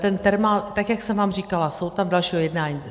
Ten Thermal, tak jak jsem vám říkala, jsou tam další jednání.